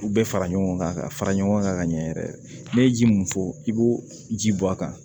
U bɛɛ fara ɲɔgɔn kan ka fara ɲɔgɔn kan ka ɲɛ yɛrɛ n'i ye ji mun fɔ i b'o ji bɔ a kan